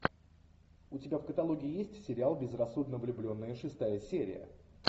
у тебя в каталоге есть сериал безрассудно влюбленные шестая серия